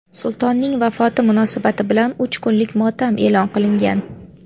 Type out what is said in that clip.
Sultonning vafoti munosabati bilan uch kunlik motam e’lon qilingan.